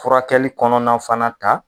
Furakɛli kɔnɔna fana ta